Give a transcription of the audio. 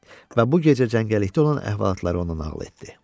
Və bu gecə cəngəllikdə olan əhvalatları ona nəql etdi.